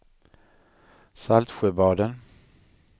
Saltsjöbaden